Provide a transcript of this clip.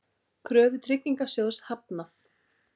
Kröfu Tryggingasjóðs hafnað